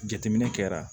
Jateminɛ kɛra